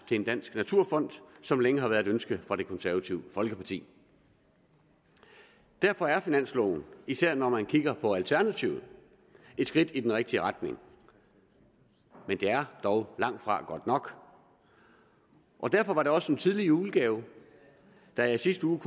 til en dansk naturfond som længe har været et ønske fra det konservative folkeparti derfor er finansloven især når man kigger på alternativet et skridt i den rigtige retning men det er dog langtfra godt nok derfor var det også en tidlig julegave da jeg i sidste uge